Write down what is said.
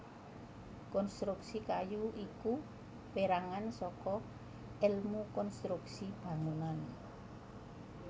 Konstruksi kayu iku pérangan saka èlmu konstruksi bangunan